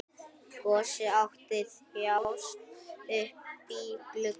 Gosi mátti þjást uppí glugga.